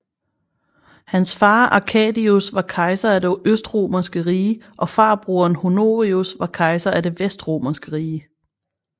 Hans far Arcadius var kejser af det Østromerske rige og farbroderen Honorius var kejser af det Vestromerske rige